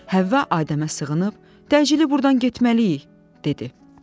Həvva Adəmə sığınıb, təcili burdan getməliyik, dedi.